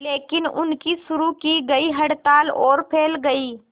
लेकिन उनकी शुरू की गई हड़ताल और फैल गई